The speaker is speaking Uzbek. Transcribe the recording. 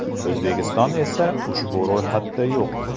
O‘zbekiston esa ushbu ro‘yxatda yo‘q.